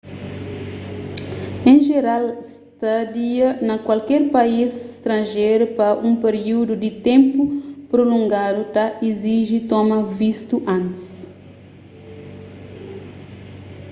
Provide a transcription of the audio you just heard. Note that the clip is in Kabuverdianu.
en jeral stadia na kualker país stranjeru pa un periúdu di ténpu prulongadu ta iziji toma vistu antis